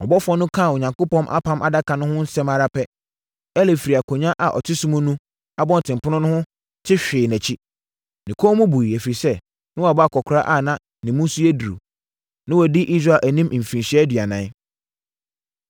Ɔbɔfoɔ no kaa Onyankopɔn Apam Adaka no ho asɛm ara pɛ, Eli firi akonnwa a ɔte so mu wɔ abɔntenpono ho no te hwee nʼakyi. Ne kɔn mu buiɛ, ɛfiri sɛ, na wabɔ akɔkoraa a ne mu nso yɛ duru. Na wadi Israel anim mfirinhyia aduanan.